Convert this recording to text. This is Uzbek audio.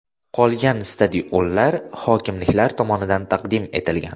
Qolgan stadionlar hokimliklar tomonidan taqdim etilgan.